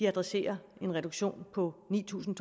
adresserer en reduktion på ni tusind